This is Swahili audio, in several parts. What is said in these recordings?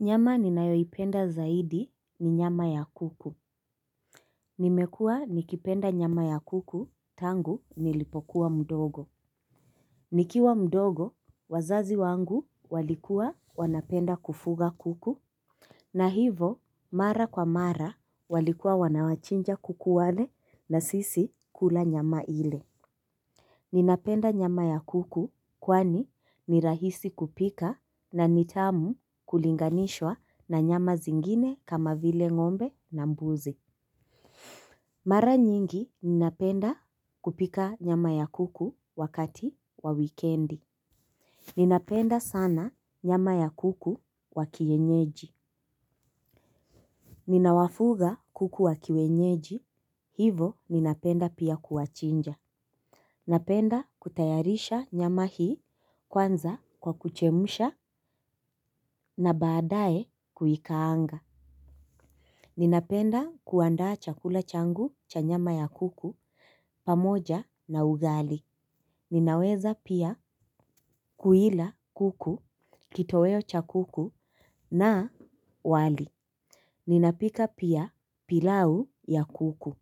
Nyama ninayoipenda zaidi ni nyama ya kuku. Nimekuwa nikipenda nyama ya kuku tangu nilipokuwa mdogo. Nikiwa mdogo, wazazi wangu walikuwa wanapenda kufuga kuku. Na hivo mara kwa mara walikuwa wanawachinja kuku wale na sisi kula nyama ile ninapenda nyama ya kuku kwani ni rahisi kupika na ni tamu kulinganishwa na nyama zingine kama vile ngombe na mbuzi. Mara nyingi ninapenda kupika nyama ya kuku wakati wa wikendi. Ninapenda sana nyama ya kuku wa kienyeji. Ninawafuga kuku wa kienyeji hivo ninapenda pia kuwachinja. Napenda kutayarisha nyama hii kwanza kwa kuchemsha na baadaye kuikaanga. Ninapenda kuandaa chakula changu cha nyama ya kuku pamoja na ugali. Ninaweza pia kuila kuku kitoweo cha kuku na wali. Ninapika pia pilau ya kuku.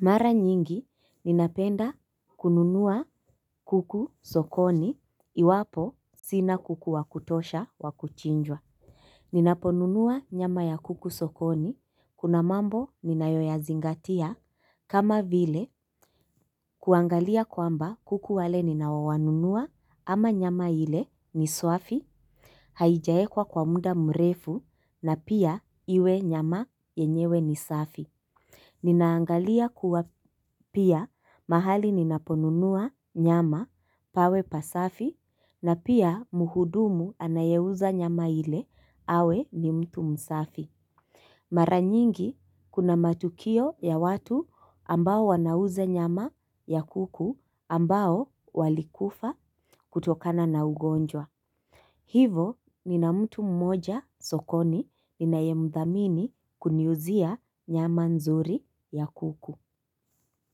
Mara nyingi ninapenda kununua kuku sokoni iwapo sina kuku wa kutosha wa kuchinjwa. Ninaponunua nyama ya kuku sokoni kuna mambo ninayoyazingatia kama vile kuangalia kwamba kuku wale ninawanunua ama nyama ile ni swafi, haijaekwa kwa muda mrefu na pia iwe nyama yenyewe ni safi. Ninaangalia kuwa pia mahali ninaponunua nyama pawe pasafi na pia mhudumu anayeuza nyama ile awe ni mtu msafi. Mara nyingi kuna matukio ya watu ambao wanauza nyama ya kuku ambao walikufa kutokana na ugonjwa. Hivo nina mtu mmoja sokoni ninayemdhamini kuniuzia nyama nzuri ya kuku.